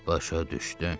Başa düşdüm.